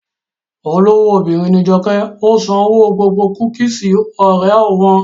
Olówó obìnrin ní Joke, ó san owó gbogbo kúkìsì Oreo wọn